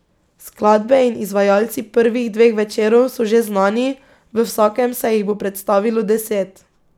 Skladbe in izvajalci prvih dveh večerov so že znani, v vsakem se jih bo predstavilo deset.